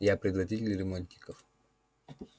я предводитель ремонтников